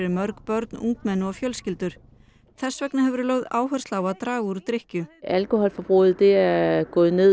mörg börn ungmenni og fjölskyldur þess vegna hefur verið lögð áhersla á að draga úr drykkju